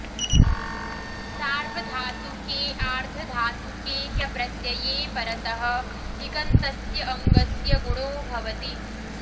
सार्वधातुके आर्धधातुके च प्रत्यये परतः इगन्तस्य अङ्गस्य गुणो भवति